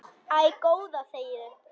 Æ, góða þegiðu.